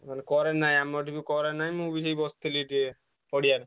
ମାନେ current ନାହିଁ ଆମର ବି current ନାହିଁ ମୁଁ ବି ସେଇ ବସିଥିଲି ଟିକେ ପଡିଆରେ।